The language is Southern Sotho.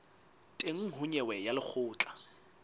teng ho nyewe ya lekgotla